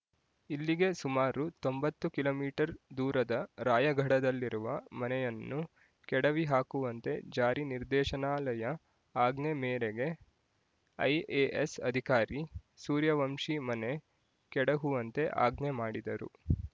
ಇಲ್ಲಿಗೆ ಸುಮಾರು ತೊಂಬತ್ತು ಕಿಲೋ ಮೀಟರ್ ದೂರದ ರಾಯಘಡದಲ್ಲಿರುವ ಮನೆಯನ್ನು ಕೆಡವಿಹಾಕುವಂತೆ ಜಾರಿ ನಿರ್ದೇಶನಾಲಯ ಆಜ್ಞೆ ಮೇರೆಗೆ ಐ‌ಎ‌ಎಸ್ ಅಧಿಕಾರಿ ಸೂರ್ಯವಂಶಿ ಮನೆ ಕೆಡಹುವಂತೆ ಆಜ್ಞೆ ಮಾಡಿದರು